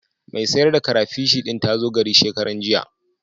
Mai sayar da karafish ɗin ta zo gari shekaranjiya.